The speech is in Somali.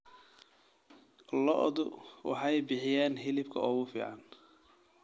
Lo'du waxay bixiyaan hilibka ugu fiican.